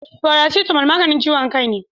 Paracetamol maganin ciwon kai ne